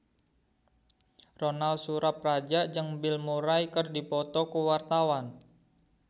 Ronal Surapradja jeung Bill Murray keur dipoto ku wartawan